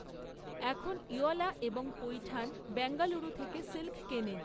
এখন ইওলা এবং পৈঠান বেঙ্গালুরু থেকে সিল্ক কেনেন।